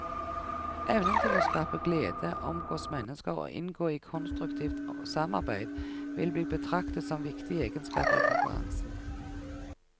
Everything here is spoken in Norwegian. Evnen til å skape glede, omgås mennesker og inngå i konstruktivt samarbeid vil bli betraktet som viktige egenskaper i konkurransen.